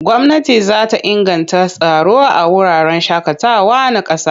Gwamnati za ta inganta tsaro a wuraren shaƙatawa na ƙasa.